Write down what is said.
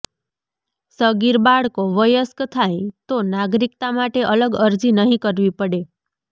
સગીર બાળકો વયસ્ક થાય તો નાગરિકતા માટે અલગ અરજી નહીં કરવી પડે